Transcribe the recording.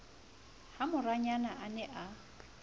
ha morayena a ne a